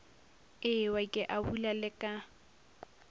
ewa ke abula le ka